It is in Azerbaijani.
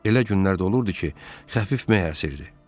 Elə günlər də olurdu ki, xəfif məh əsirdi.